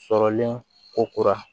Sɔrɔlen ko kura